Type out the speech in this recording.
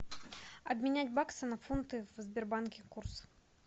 обменять баксы на фунты в сбербанке курс